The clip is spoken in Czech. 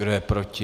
Kdo je proti?